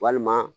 Walima